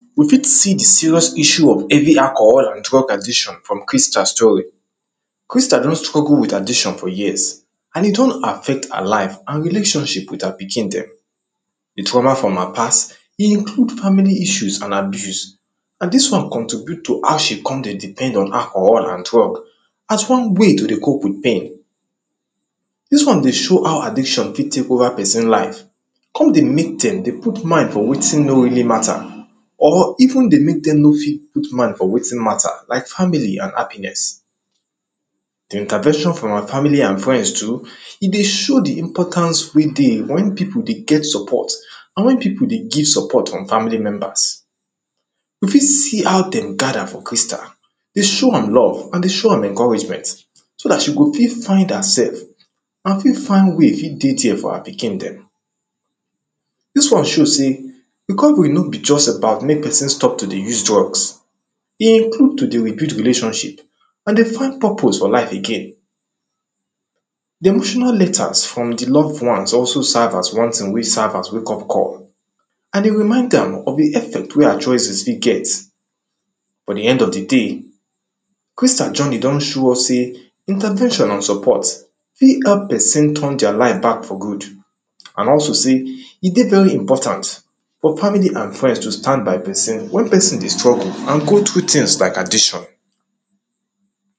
you fit see the serious issue of heavy alcohol and drug addiction from crystal story. crystal don struggle with addiction for years, and e don affect her life and relationship with her pikin dem. the trauma from her past, dey include family issues and abuse, na dis one contribute to how she con dey depend on alcohol and drug. as one way to dey cope with dem, dis one dey show how addiction fit tek over person life, con dey mek dem dey put mind for wetin no really matter, or even dey mek dem no fit put mind for wetin matter like family and happiness. den candression from awa family and friends too, e dey show the importance wey dey wen pipu dey get support, and wen pipu dey get support from family members. you fit see how dem gather for crystal dey show am love and dey show am encouragement, so dat she go fit find hersef, and fit find way fit dey dere for her pikin dem. dis one show sey, the conquest no be just about mek person stop to dey use drugs dey improve to dey rebuild relationship, and dey find purpose for life again. the emotional letters from the love ones also serve as one ting wey serve as wake up call, and dey remaind am of the effect wey her choices fit get for the end of the day. crystal journey don show us sey, intercession and support, fit help person turn deir life back for good, and also sey. e dey very important, for family and friends to stand by person, wen person dey struggle and go through tings like addiction.